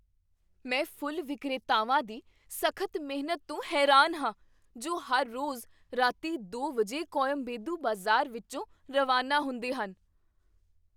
ਮੈਂ ਫੁੱਲ ਵਿਕਰੇਤਾਵਾਂ ਦੀ ਸਖ਼ਤ ਮਿਹਨਤ ਤੋਂ ਹੈਰਾਨ ਹਾਂ ਜੋ ਹਰ ਰੋਜ਼ ਰਾਤੀਂ ਦੋ ਵਜੇ ਕੋਯਮਬੇਦੂ ਬਾਜ਼ਾਰ ਵਿੱਚੋਂ ਰਵਾਨਾ ਹੁੰਦੇ ਹਨ